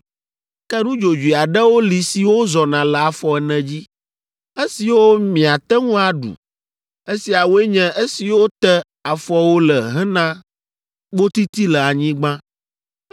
Ke nudzodzoe aɖewo li siwo zɔna le afɔ ene dzi, esiwo miate ŋu aɖu. Esiawoe nye esiwo te afɔwo le hena kpotiti le anyigba.